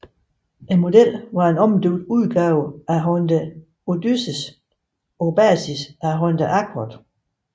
Modellen var en omdøbt udgave af Honda Odyssey på basis af Honda Accord